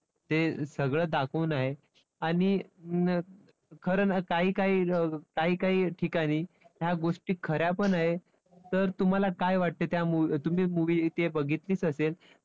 ते सगळं दाखवून आहे. आणि खरं ना काही काही अं काही काही ठिकाणी या गोष्टी खऱ्यापण आहेत तर तुम्हाला काय वाटते त्या तुम्ही movie ती बघितलीच असेल.